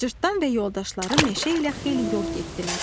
Cırtdan və yoldaşları meşə ilə xeyli yol getdilər.